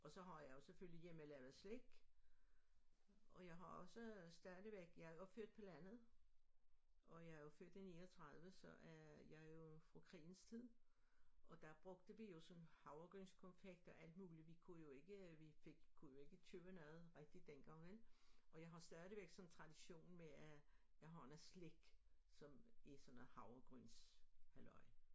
Og så har jeg jo selvfølgelig hjemmelavet slik og jeg har også stadigvæk jeg er født på landet og jeg er jo født i 39 så øh jeg er jo fra krigens tid og der brugte vi jo sådan havregrynskonfekt og alt muligt vi kunne jo ikke vi fik kunne jo ikke købe noget rigtigt dengang vel og jeg har stadigvæk sådan en tradition med at jeg har noget slik som i sådan noget havregryns halløj